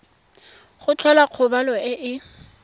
go tlhola kgobalo e e